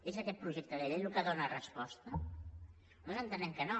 és aquest projecte de llei el que hi dóna resposta nosaltres entenem que no